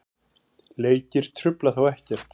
Leikir trufla þá ekkert.